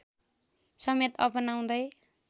समेत अपनाउँदै